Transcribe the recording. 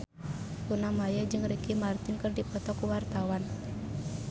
Luna Maya jeung Ricky Martin keur dipoto ku wartawan